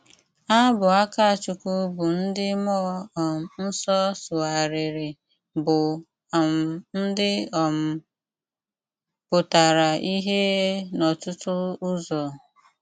Ábụ́ Ákáchúkwú bụ́ ndí Múọ́ um Nsọ́ sụ́ghárírí bụ́ um ndí um pụ́tárá íhé n’ọ́tụ́tụ ụ́zọ́.